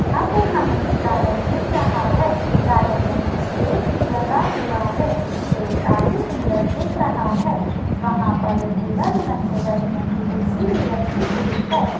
यहा पर हमे एक गार्डेन दिख रहा है गार्डेन मे एक स्टेज भी लगा हुआ है स्टेज काफी सुंदर दिख रहा है वहा पर एक धुला धुलहन के बैठनेकी खुर्चि भी रखी हुई है।